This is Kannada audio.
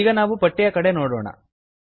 ಈಗ ನಾವು ಪಟ್ಟಿಯ ಕಡೆ ನೋಡೋಣ